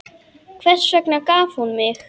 Hvers vegna gaf hún mig?